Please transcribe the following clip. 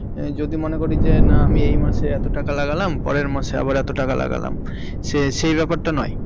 যদি মনে করি যে না আমি এই মাসে এত টাকা লাগালাম পরের মাসে আবার এত টাকা লাগালাম সে সেই ব্যাপারটা নয়?